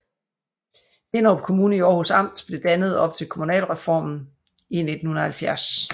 Hinnerup Kommune i Århus Amt blev dannet op til kommunalreformen i 1970